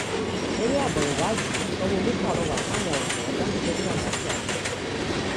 lórí abọ ìwádìí sanwóolu pàrọwà sáwọn ọdọ láti jẹ kí àlàáfíà jọba